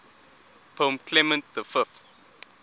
pope clement v